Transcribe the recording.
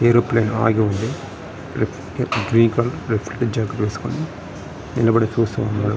Aeroplane ఆగి ఉన్నది grey colour చారకులు నిలబడి చూస్తున్నారు.